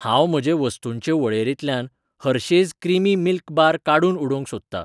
हांव म्हजे वस्तूंचे वळेरींतल्यान हर्शेज क्रिमी मिल्क बार काडून उडोवंक सोदतां.